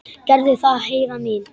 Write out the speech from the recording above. Gerðu það, Heiða mín.